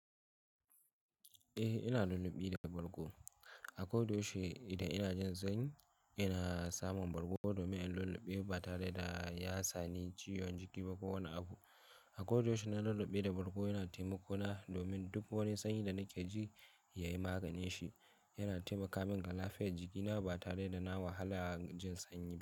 Eh, ina lulluɓe da bargo. A kodayaushe idan ina jin sanyi ina samun bargo domin in lulluɓe ba tare da ya sani ciwon jiki ba ko wani abu. A kodayaushe na lulluɓe da bargo yana taimako na domin duk wani sanyi da nake ji yayi maganinshi. Yana taimakamin a lafiyar jikina ba tare da na wahala jin sanyi ba.